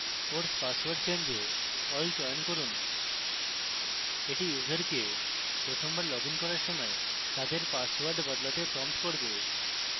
force password change এ all চয়ন করুন এটি ইউসারকে প্রথমবার লগইন করার সময় তাদের পাসওয়ার্ড বদলাতে prompt করবে